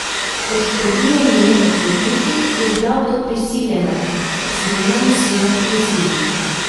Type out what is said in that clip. Kot trdijo njeni odvetniki, je bila v to prisiljena, ker so njenemu sinu grozili.